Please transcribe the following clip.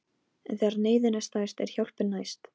En þegar neyðin er stærst er hjálpin næst.